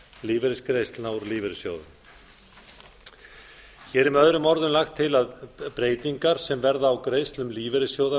lífeyrisgreiðslna úr lífeyrissjóðum hér er með öðrum orðum lagt til að breytingar sem verða á greiðslum lífeyrissjóða